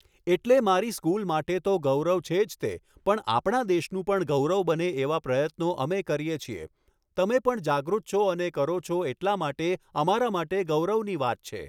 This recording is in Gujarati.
એટલે મારી સ્કૂલ માટે તો ગૌરવ છે જ તે પણ આપણા દેશનું પણ ગૌરવ બને એવા પ્રયત્નો અમે કરીએ છીએ તમે પણ જાગૃત છો અને કરો છો એટલા માટે અમારા માટે ગૌરવની વાત છે